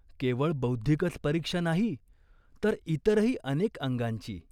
केवळ बौद्धिकच परीक्षा नाही, तर इतरही अनेक अंगांची.